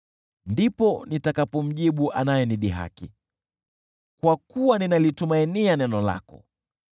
ndipo nitakapomjibu anayenidhihaki, kwa kuwa ninalitumainia neno lako.